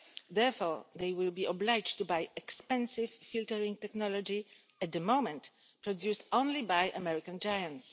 Therefore, these SMEs will be obliged to buy expensive filtering technology, at the moment produced only by American giants.